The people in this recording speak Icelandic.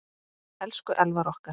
Elsku Elvar okkar.